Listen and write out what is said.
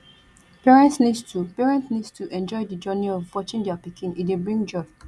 parents need to parents need to enjoy di journey of watching their pikin e dey bring joy